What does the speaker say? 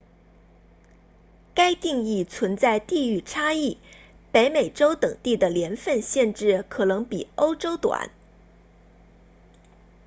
该定义存在地域差异北美洲等地的年份限制可能比欧洲短